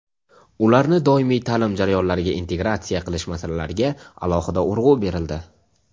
ularni doimiy taʼlim jarayonlariga integratsiya qilish masalalariga alohida urg‘u berildi.